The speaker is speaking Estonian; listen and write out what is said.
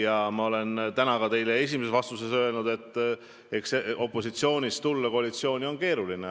Täna ma ütlesin teile antud esimeses vastuses, et eks opositsioonist koalitsiooni tulla on keeruline.